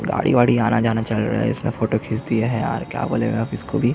गाड़ी -वाड़ी आना जाना चल रहा है इसका फोटो खिंच दिए है यार क्या बोलेगा अब इसको भी --